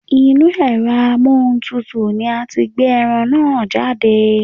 Inúu ẹ̀rọ amóhuntutù ni a ti gbé ẹran náà jáde.